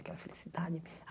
Aquela felicidade.